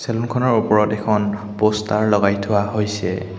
Room খনৰ ওপৰত এখন প'ষ্টাৰ লগাই থোৱা হৈছে।